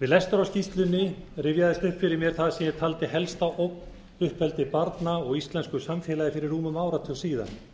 við lestur á skýrslunni rifjaðist upp fyrir mér það sem ég taldi helsta ógn uppeldi barna og íslensku samfélagi fyrir rúmum áratug síðan en